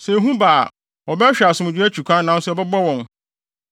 Sɛ ehu ba a, wɔbɛhwehwɛ asomdwoe akyi kwan nanso ɛbɛbɔ wɔn.